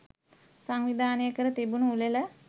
සංවිධානය කර තිබුණු උළෙල